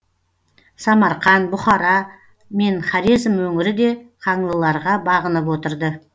самарқан бұхара мен хорезм өңірі де қаңлыларға бағынып отырды